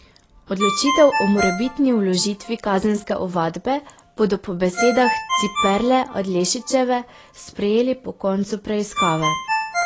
Odločitev o morebitni vložitvi kazenske ovadbe bodo po besedah Ciperle Adlešičeve sprejeli po koncu preiskave.